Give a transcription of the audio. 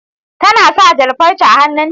Tana sa jan farce hannun ta